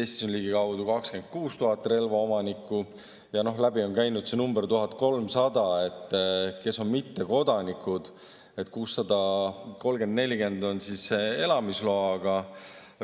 Eestis on ligikaudu 26 000 relvaomanikku ja läbi on käinud number 1300, kes on mittekodanikud: 630–640 on elamisloaga